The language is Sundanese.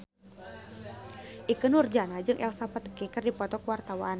Ikke Nurjanah jeung Elsa Pataky keur dipoto ku wartawan